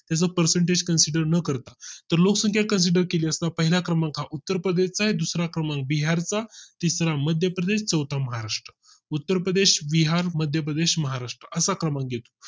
त्याचे percentage consider न करता तो लोकसंख्या Consider केली असता पहिल्या क्रमांका उत्तर प्रदेश चा दुसरा क्रमांक बिहार चा तिसरा मध्यप्रदेश, चौथा महाराष्ट्र उत्तर प्रदेश बिहार मध्य प्रदेश महाराष्ट्र असा क्रमांक येतो